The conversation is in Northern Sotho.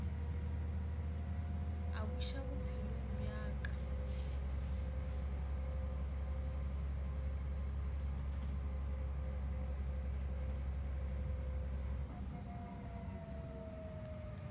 a buša bophelong bja ka